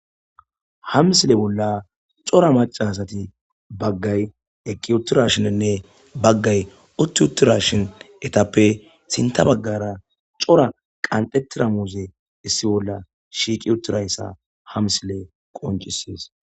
Hamissile bolla corra assattieqqi uttidashinne baggay utti uttidashin ettappe sintha baggarra kathidda muzze qanxxi wothizzayssa ha misilley qonccisses.